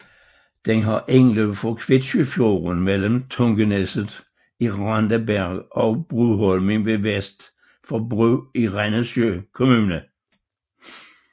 Den har indløb fra Kvitsøyfjorden mellem Tungeneset i Randaberg og Bruholmen vest for Bru i Rennesøy kommune